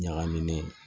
Ɲagaminen